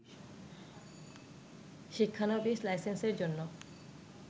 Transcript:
শিক্ষানবিস লাইসেন্সের জন্য